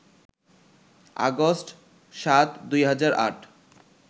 August ৭, ২০০৮